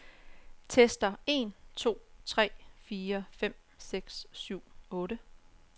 Tester en to tre fire fem seks syv otte.